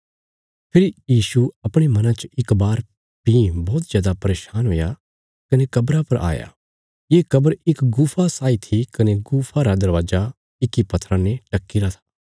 फेरी यीशु अपणे मना च इक बार भीं बौहत जादा परेशान हुया कने कब्रा पर आया ये कब्र इक गुफा साई थी कने गुफा रा दरवाजा इक्की पत्थरा ने ढक्कीरा था